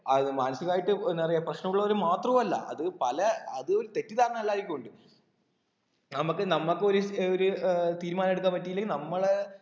അത് മാനസികമായിട്ട് എന്താ പറയാ പ്രശ്നമുള്ളവര് മാത്രവു അല്ല അത് പല അത് തെറ്റിദ്ധാരണ എല്ലാർക്കും ഇണ്ട് നമക്ക് നമക്ക് ഒരു ഏർ ഒരു ഏർ തീരുമാനം എടുക്കാൻ പറ്റിയിട്ടില്ലെങ്കി നമ്മളെ